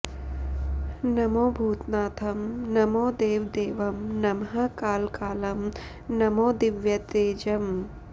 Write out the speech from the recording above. नमो भूतनाथं नमो देवदेवं नमः कालकालं नमो दिव्यतेजम्